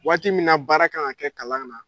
Waati min na baara kan ka kɛ kalan na